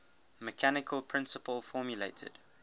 mechanical principle formulated